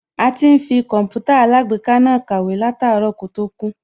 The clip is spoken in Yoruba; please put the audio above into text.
A ti ń fi Kọǹpútà alágbèéká náà kọ̀wé láàtárọ̀ kó tó kú